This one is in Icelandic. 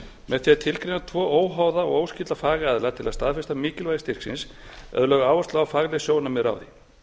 með því að tilgreina tvo óháða og óskylda fagaðila til að staðfesta mikilvægi styrksins er lögð áhersla á að fagleg sjónarmið ráði